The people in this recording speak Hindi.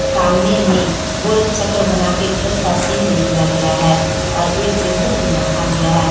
सामने में गोल चक्र बनाके प्लस का चिन्ह दे दिया गया है और एक टेबुल भी रखा गया है।